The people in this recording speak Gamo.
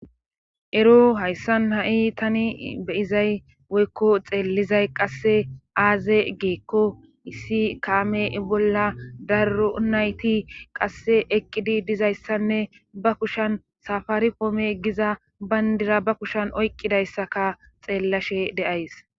Ero hayssan ha7i tani beyizay woykko xeellizay qasse aaze geekko issi kaame bolla daro nayti qasse eqqidi dizayssanne ba kushan safaari poome giza bayndira ba kushan oyqqidayssaka xeellashe de7ays.